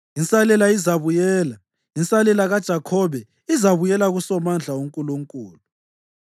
Insalela izabuyela, insalela kaJakhobe izabuyela kuSomandla uNkulunkulu.